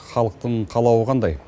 халықтың қалауы қандай